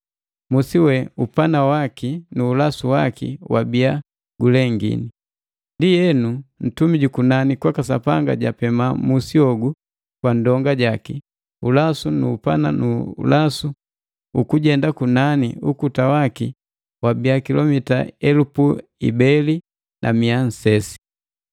Musi we upana waki nu ulasu waki wabia gulengini. Ndienu ntumi jukunani kwaka Sapanga japema musi hogu kwa ndonga jaki, ulasu nu upana nu ulasu ukujenda kunani ukuta waki wabia kilomita elupu ibeli na mia nsesi.